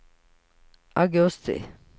augusti